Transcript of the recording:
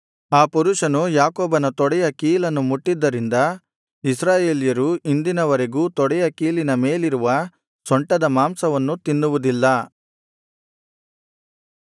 ಆ ಪುರುಷನು ಯಾಕೋಬನ ತೊಡೆಯ ಕೀಲನ್ನು ಮುಟ್ಟಿದ್ದರಿಂದ ಇಸ್ರಾಯೇಲ್ಯರು ಇಂದಿನ ವರೆಗೂ ತೊಡೆಯ ಕೀಲಿನ ಮೇಲಿರುವ ಸೊಂಟದ ಮಾಂಸವನ್ನು ತಿನ್ನುವುದಿಲ್ಲ